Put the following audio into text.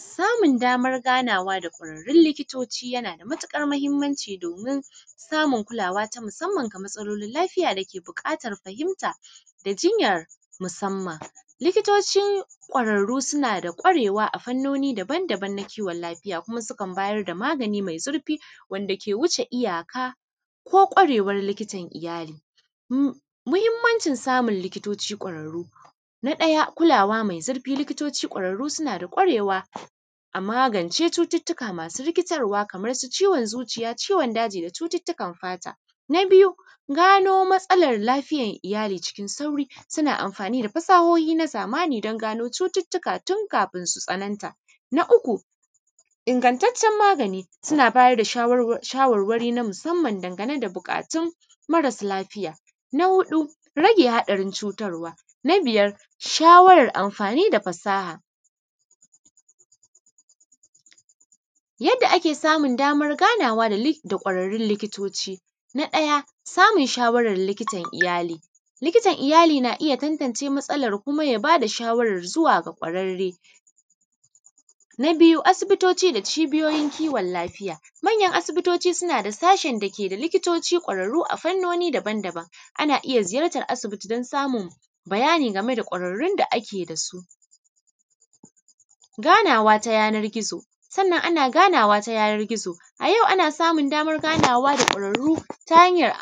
Samun daman ganawa da kwararrun likitoci yanada matuƙar mahimmanci domin samun kulawa ta musamman ga matsalolin lafiyan dake buƙatar fahimta da jinyar musamman. Likitoci kwararru sunada kwarewa a fannoni daban daban na kiwon lafiya kuma sukan magani mai zurfi wanda ke wuce iyyaka ko kwarewar likitar iyyali. Muhimmancin samun likitoci kwararru. Na ɗaya kulawa mai zurfi likitoci suna kulawa a magance cututtuka masu rikitarwa kamansu ciwon zuciya, ciwon daji da cututtukan fata. Na biyu gano matsalar lafiyar iyyali cikin sauƙi, suna amfani da fasahohi na zamani dan gano cututtuka tun kafin su tsananta. Na uku ingattacen magani suna bayar da shawarwari na musamman dan gane da buƙatun marasun lafiya, na huɗu rage haɗarin cutarwa. Na biyar shawawar amfani da fasaha. Yadda ake samun daman ganawa da kwararrun likitoci. Na ɗaya samun shawarar likitan iyyali likitan iyyali na iyya tantance matsalar kuma ya bayada shawarar zuwaga kwararre. Na biyu asibitoci da cibiyoyin kiwon lafiya manyan asibitoci sunada sashin da keda manyan likitoci kwararru a fannoni daban daban ana iyya ziyartar asibiti dan samun bayini gameda kwararrun da ake dasu. Ganawa ta yanar gizo sannan ana ganawa ta yanar gizo, a yau ana samun daman ganawa da kwararru ta hanyar